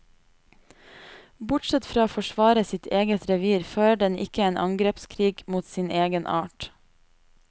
Bortsett fra å forsvare sitt eget revir fører den ikke en angrepskrig mot sin egen art.